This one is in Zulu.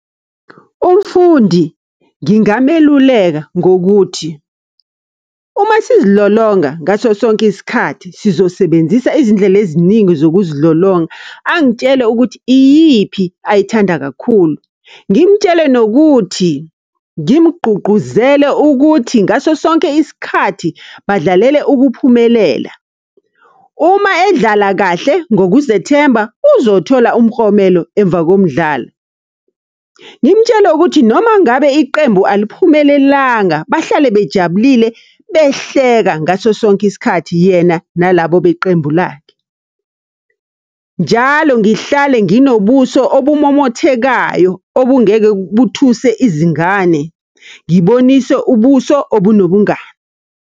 Umfundi ngingameluleka ngokuthi, uma sizilolonga ngaso sonke isikhathi sizosebenzisa izindlela eziningi zokuzilolonga, angitshele ukuthi iyiphi ayithanda kakhulu. Ngimtshele nokuthi, ngimgqugquzele ukuthi ngaso sonke isikhathi, badlalele ukuphumelela. Uma edlala kahle ngokuzethemba uzothola umklomelo emva komdlalo. Ngimtshele ukuthi noma ngabe iqembu aliphumelelanga, bahlale bejabulile behleka ngaso sonke isikhathi yena nalabo beqembu lakhe. Njalo ngihlale nginobuso obumomothekayo, obungeke buthuse izingane, ngibonise ubuso obunobungani.